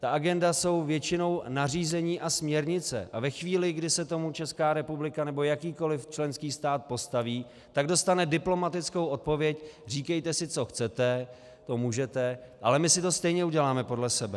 Ta agenda jsou většinou nařízení a směrnice a ve chvíli, kdy se tomu Česká republika nebo jakýkoli členský stát postaví, tak dostane diplomatickou odpověď: říkejte si, co chcete, to můžete, ale my si to stejně uděláme podle sebe.